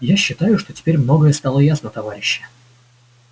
я считаю что теперь многое стало ясно товарищи